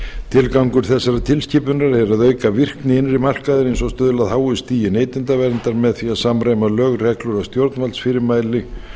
tilgangur þessarar tilskipunar er að auka virkni innri markaðarins og stuðla að háu stigi neytendaverndar með því að samræma lög reglur og stjórnvaldsfyrirmæli